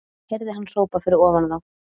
Heyrði hann hrópað fyrir ofan þá.